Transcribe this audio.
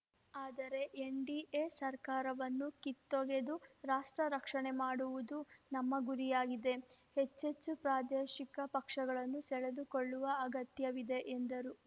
ಆದರೆ ಎನ್‌ಡಿಎ ಸರ್ಕಾರವನ್ನು ಕಿತ್ತೊಗೆದು ರಾಷ್ಟ್ರ ರಕ್ಷಣೆ ಮಾಡುವುದು ನಮ್ಮ ಗುರಿಯಾಗಿದೆ ಹೆಚ್ಚೆಚ್ಚು ಪ್ರಾದೇಶಿಕ ಪಕ್ಷಗಳನ್ನು ಸೆಳೆದುಕೊಳ್ಳುವ ಅಗತ್ಯವಿದೆ ಎಂದರು